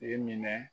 I minɛ